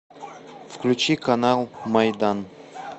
включи канал майдан